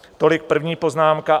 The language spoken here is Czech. Tolik první poznámka.